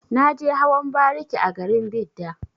Na je hawan bariki a garin Bida.